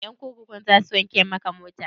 Ƴan kurkukun za su wanke maka mota?